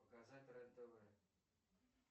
показать рен тв